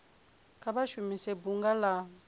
kha vha shumise bunga la